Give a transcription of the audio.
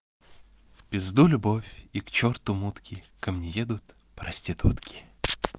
в пизду любовь и к черту мутки ко мне едут проститутки